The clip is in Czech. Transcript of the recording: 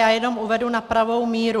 Já jenom uvedu na pravou míru.